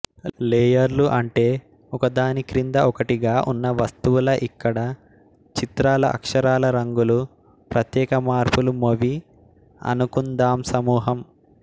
లేయర్లు అంటే ఒక దానిక్రింద ఒకటిగా ఉన్న వస్తువులఇక్కడ చిత్రాలుఅక్షరాలురంగులు ప్రత్యేక మార్పులు మొవి అనుకుందాంసమూహం